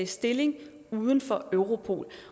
stilling uden for europol